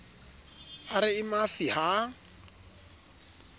ba re e mafi ha